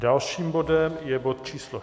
Dalším bodem je bod číslo